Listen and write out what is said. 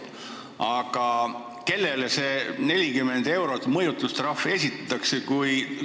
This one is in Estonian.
Aga kellele see 40-eurose mõjutustrahvi nõue esitatakse?